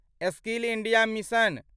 skill India mission